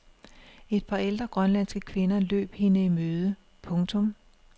Et par ældre grønlandske kvinder løb hende i møde. punktum